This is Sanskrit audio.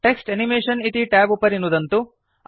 टेक्स्ट् एनिमेशन इति ट्याब् उपरि नुदन्तु